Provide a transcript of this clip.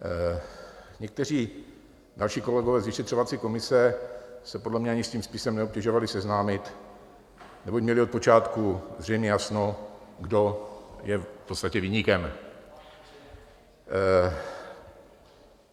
Někteří další kolegové z vyšetřovací komise se podle mě ani s tím spisem neobtěžovali seznámit, neboť měli od počátku zřejmě jasno, kdo je v podstatě viníkem.